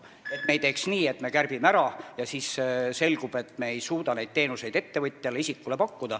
Ei tohi teha nii, et me kärbime ja siis selgub, et me ei suuda pakkuda teenuseid ettevõtjale ega isikule.